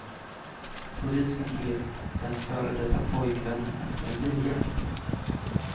Polisen grep den före detta pojkvännen efter en biljakt.